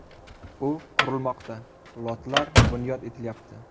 U qurilmoqda, lotlar bunyod etilyapti.